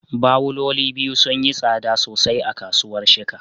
Bawuloli biyu sun yi tsada sosai a kasuwar Shika